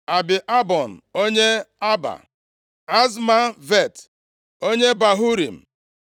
Abi-Albon, onye Arba, Azmavet, onye Bahurim